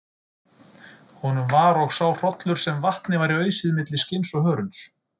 Honum var og sá hrollur sem vatni væri ausið milli skinns og hörunds.